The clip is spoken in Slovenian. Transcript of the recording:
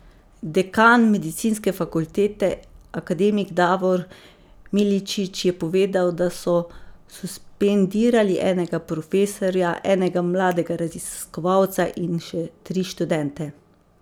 Dekan medicinske fakultete, akademik Davor Miličić, je povedal, da so suspendirali enega profesorja, enega mladega raziskovalca in še tri študente.